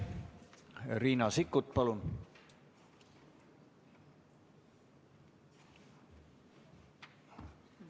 Riina Sikkut, palun!